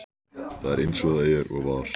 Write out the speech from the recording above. Það er eins og það er og var.